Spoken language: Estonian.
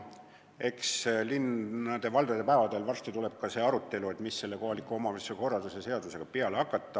Eks linnade-valdade päevadel varsti tuleb ka arutelu, mis selle kohaliku omavalitsuse korralduse seadusega peale hakata.